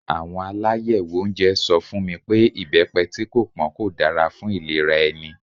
Àwọn alayewo oúnjẹ sọ fún mi pé ibepe tí kò pọn kò dára fún ìlera ẹni.